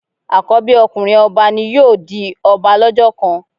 Àkọ́bí ọkùnrin ọba náà ni yóò di ọba lọ́jọ́ kan.